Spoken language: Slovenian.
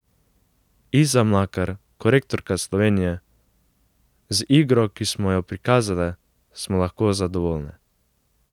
Iza Mlakar, korektorka Slovenije: 'Z igro, ki smo jo prikazale, smo lahko zadovoljne.